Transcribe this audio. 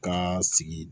Kan sigi